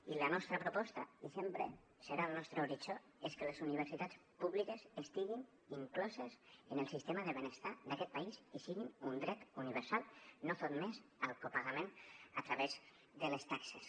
i la nostra proposta i sempre serà el nostre horitzó és que les universitats públiques estiguin incloses en el sistema de benestar d’aquest país i siguin un dret universal no sotmès al copagament a través de les taxes